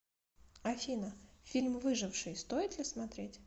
афина фильм выживший стоит ли смотреть